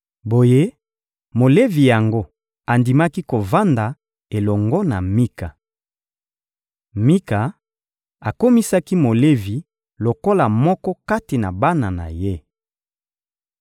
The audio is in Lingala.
Boye, Molevi yango andimaki kovanda elongo na Mika. Mika akomisaki Molevi lokola moko kati na bana na ye.